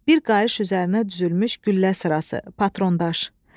Bir qayış üzərinə düzülmüş güllə sırası, patron daş.